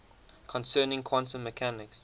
concerning quantum mechanics